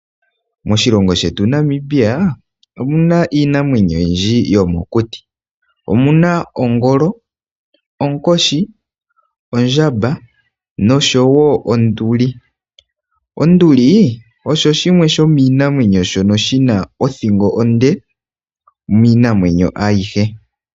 Moshilongo shetu Namibia omuna iinamwenyo oyindji yomokuti , omuna ongolo, onkoshi, ondjamba, noshowo onduli. Onduli osho shimwe sho miinamwenyo shono shina othingo onde miinamwenyo ayihe.